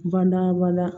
Bada bada